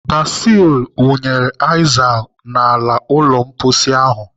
Basil wụnyere aizal n'ala ụlọ mposi ahụ.